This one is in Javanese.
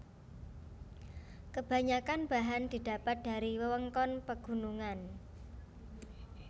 Kebanyakan bahan didapat dari wewengkon pegunungan